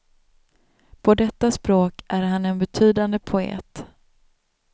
På detta språk är han en betydande poet.